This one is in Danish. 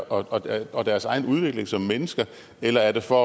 og deres egen udvikling som mennesker eller er det for